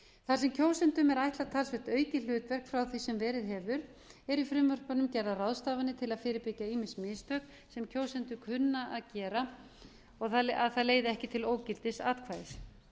þar sem kjósendum er ætlað talsvert aukið hlutverk frá því sem verið hefur eru í frumvörpunum gerðar ráðstafanir til að fyrirbyggja að ýmis mistök sem kjósendur kunna að gera leiði ekki til ógildis atkvæðis